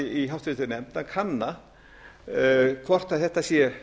í háttvirtri nefnd að kanna hvort þetta sé